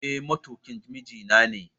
Eh matukin mijinane